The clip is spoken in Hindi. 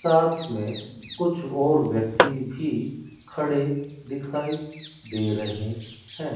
साथ में कुछ और व्यक्ति भी खड़े दिखाई दे रहे हैं।